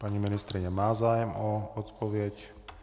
Paní ministryně má zájem o odpověď.